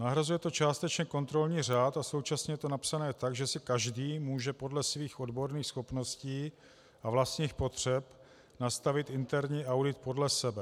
Nahrazuje to částečně kontrolní řád a současně je to napsáno tak, že si každý může podle svých odborných schopností a vlastních potřeb nastavit interní audit podle sebe.